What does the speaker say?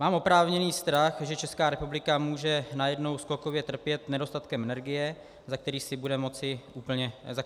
Mám oprávněný strach, že Česká republika může najednou skokově trpět nedostatkem energie, za který si budeme moci úplně sami.